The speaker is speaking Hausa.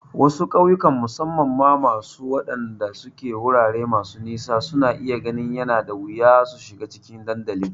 Wasu ƙauyawan, musamman ma waɗanda suke wurare masu nisa, suna iya ganin yana da wuya su shiga cikin dandalin.